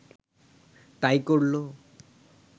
তা-ই করল